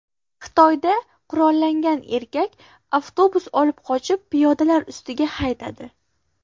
Xitoyda qurollangan erkak avtobus olib qochib, piyodalar ustiga haydadi.